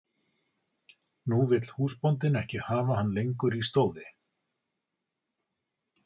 Nú vill húsbóndinn ekki hafa hann lengur í stóði.